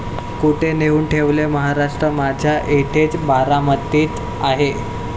कुठे नेऊन ठेवलाय महाराष्ट्र माझा? इथेच बारामतीत आहे'